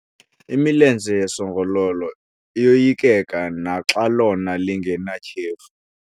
Imilenze yesongololo iyoyikeka naxa lona lingenatyhefu.